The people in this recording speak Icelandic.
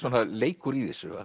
leikur í þessu